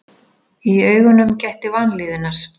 Í augunum gætti vanlíðunar.